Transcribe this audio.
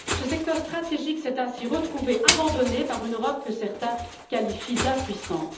Ce secteur stratégique s'est ainsi retrouvé abandonné par une Europe que certains qualifient d'impuissante.